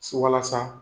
Walasa